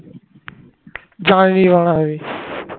জানিনি আমি